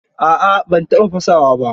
A'a ban taɓa fasawa ba.